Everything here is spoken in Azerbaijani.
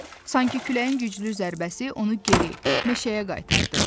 Sanki küləyin güclü zərbəsi onu geri meşəyə qaytardı.